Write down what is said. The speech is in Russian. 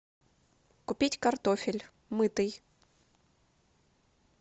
купить картофель мытый